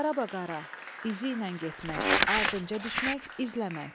Qarabaqara, izi ilə getmək, ardınca düşmək, izləmək.